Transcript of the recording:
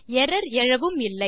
error எழவும் இல்லை